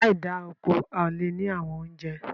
Láì da oko, a ó lè ní àwọn oúnjẹ